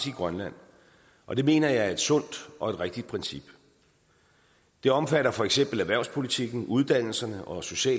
i grønland og det mener jeg er et sundt og et rigtigt princip det omfatter for eksempel erhvervspolitikken uddannelserne og social